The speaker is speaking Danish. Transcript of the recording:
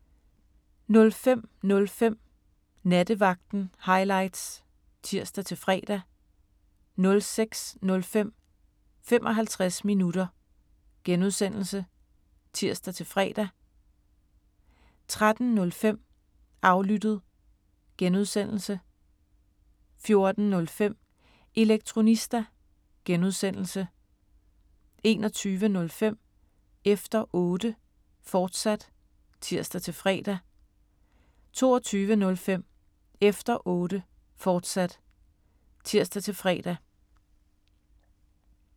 05:05: Nattevagten Highlights (tir-fre) 06:05: 55 minutter (G) (tir-fre) 13:05: Aflyttet (G) 14:05: Elektronista (G) 21:05: Efter Otte, fortsat (tir-fre) 22:05: Efter Otte, fortsat (tir-fre)